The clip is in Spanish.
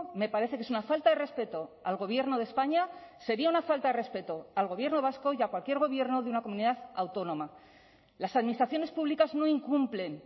me parece que es una falta de respeto al gobierno de españa sería una falta de respeto al gobierno vasco y a cualquier gobierno de una comunidad autónoma las administraciones públicas no incumplen